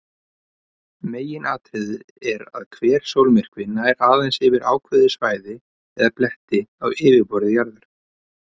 Meginatriðið er að hver sólmyrkvi nær aðeins yfir ákveðið svæði eða belti á yfirborði jarðar.